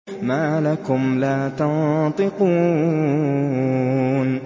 مَا لَكُمْ لَا تَنطِقُونَ